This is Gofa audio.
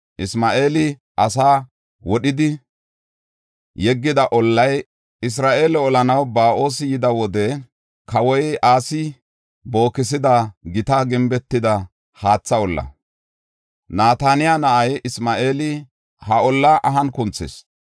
Isma7eeli asaa wodhidi yeggida ollay, Isra7eele olanaw Ba7oosi yida wode kawoy Asi bookisida gita gimbetida haatha olla. Nataniyaa na7ay Isma7eeli he ollaa ahan kunthis.